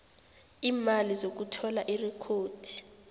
iimali zokuthola irekhodi